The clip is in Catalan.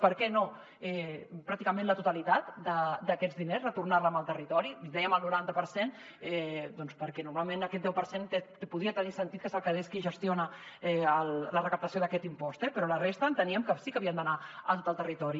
per què no pràcticament la totali tat d’aquests diners retornar los al territori dèiem el noranta per cent perquè normalment aquest deu per cent podia tenir sentit que se’l quedés qui gestiona la recaptació d’aquest impost eh però la resta enteníem que sí que havia d’anar a tot el territori